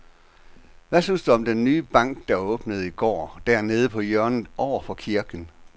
Hvad synes du om den nye bank, der åbnede i går dernede på hjørnet over for kirken?